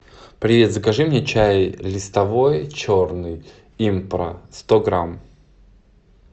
привет закажи мне чай листовой черный импра сто грамм